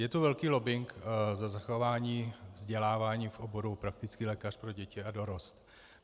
Je tu velký lobbing za zachování vzdělávání v oboru praktický lékař pro děti a dorost.